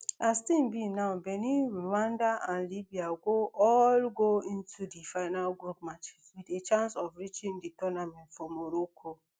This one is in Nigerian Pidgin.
as tins be now benin rwanda and libya go all go into di final group matches wit a chance of reaching di tournament for morocco